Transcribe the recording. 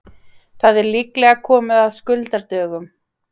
Það er líklega komið að skuldadögunum.